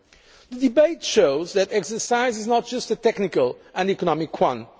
The debate shows that the exercise is not just a technical and economic